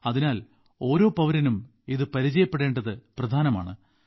അതിനാൽ ഓരോ പൌരനും ഇത് പരിചയപ്പെടേണ്ടത് പ്രധാനമാണ്